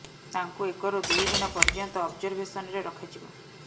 ତାଙ୍କୁ ଏକରୁ ଦୁଇ ଦିନ ପର୍ଯ୍ୟନ୍ତ ଅବଜରଭେସନ୍ ରେ ରଖାଯିବ